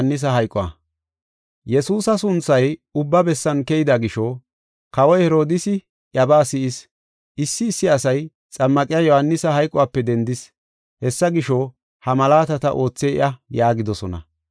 Yesuusa sunthay ubba bessan keyida gisho, Kawoy Herodiisi iyabaa si7is. Issi issi asay, “Xammaqiya Yohaanisi hayqope dendis, hessa gisho ha malaatata oothey iya” yaagidosona.